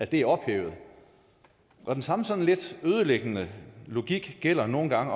det er ophævet og den samme sådan lidt ødelæggende logik gælder nogle gange